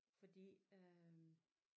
Fordi øh